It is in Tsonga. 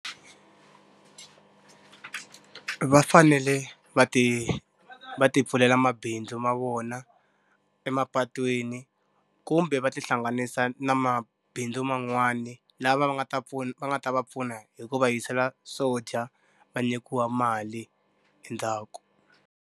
Va fanele va ti va ti pfulela mabindzu ma vona emapatwini, kumbe va tihlanganisa na mabindzu man'wani, lava va nga ta va nga ta va pfuna hi ku va yisela swo dya, va nyikiwa mali endzhaku.